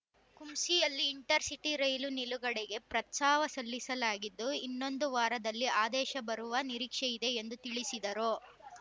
ಕುಂಸಿಯಲ್ಲಿ intercity ರೈಲು ನಿಲುಗಡೆಗೆ ಪ್ರಸ್ತಾವ ಸಲ್ಲಿಸಲಾಗಿದ್ದು ಇನ್ನೊಂದು ವಾರದಲ್ಲಿ ಆದೇಶ ಬರುವ ನಿರೀಕ್ಷೆ ಇದೆ ಎಂದು ತಿಳಿಸಿದರು